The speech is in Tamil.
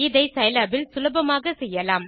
இதை சிலாப் இல் சுலபமாக செய்யலாம்